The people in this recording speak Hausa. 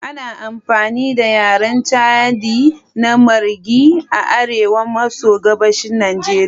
Ana amfani da yaren Chadi na Marghi a arewa maso gabashin Najeriya.